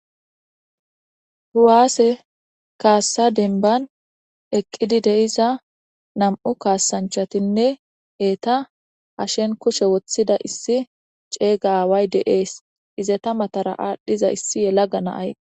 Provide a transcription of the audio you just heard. Kuwaase kaassa dembban eqqidi de'iza nam'u kaasanchatinne eeta hashen kushe woththida issi ceega aaway de'ees. Izeta matara aadhdhiza issi yelaga naay